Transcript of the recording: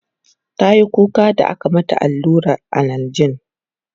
tayi kuka da aka mata alluran analjin